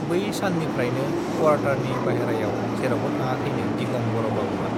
बै साननिफ्रायनो कवारटारनि बाहैरायाव जेरावबो थाङखै नौ दिगम् बर बाबुआ